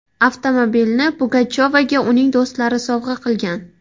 Avtomobilni Pugachovaga uning do‘stlari sovg‘a qilgan.